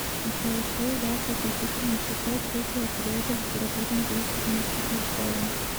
джой что является отличительной чертой третьего периода литературной деятельности толстого